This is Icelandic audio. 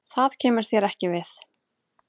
Það kemur þér ekki við.